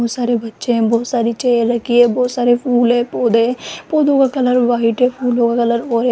बहोत सारे बच्चे हैं बहोत सारी चेयर रखी है बहोत सारे फूल हैं पौधे है पौधों का कलर व्हाइट है फूलों का कलर ओर --